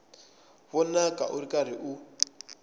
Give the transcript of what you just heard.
vonaka u ri karhi u